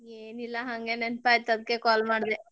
ಏನಿಲ್ಲಾ ಹಂಗೆ ನೆನಪ್ ಆಯಿತ್ ಅದ್ಕೆ call ಮಾಡ್ದೆ.